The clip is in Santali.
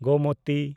ᱜᱳᱢᱚᱛᱤ